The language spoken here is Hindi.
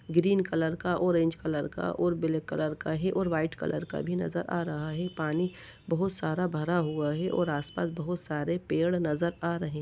ग्रीन कलर का ऑरेंज कलर का और ब्लैक कलर का है और व्हाइट कलर भी नजर आ रहा है पानी बहुत सारा भरा हुआ है और आस-पास बहुत सारे पेड़ नजर आ रहे---